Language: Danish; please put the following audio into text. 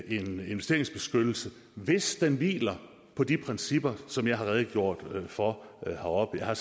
investeringsbeskyttelse hvis den hviler på de principper som jeg har redegjort for heroppefra